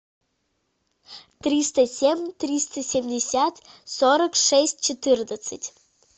триста семь триста семьдесят сорок шесть четырнадцать